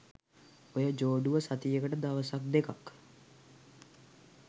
ඔය ජෝඩුව සතියට දවසක් දෙකක්